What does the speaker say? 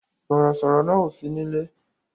Sọ̀rọ̀ sọ̀rọ̀ náà ò sí nílé